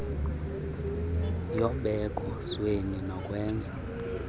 yobeko sweni nokwenza